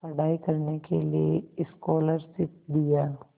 पढ़ाई करने के लिए स्कॉलरशिप दिया